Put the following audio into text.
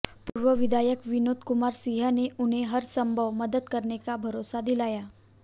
पूर्व विधायक विनोद कुमार सिंह ने उन्हें हरसंभव मदद करने का भरोसा दिलाया